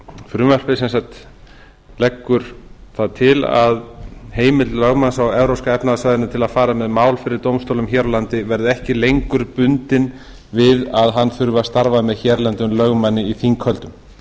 frumvarpið leggur það til að heimild lögmanna á evrópska efnahagssvæðinu til að fara með mál fyrir dómstólum hér landi verði ekki lengur bundin við að hann þurfi að starfa með hérlendum lögmanni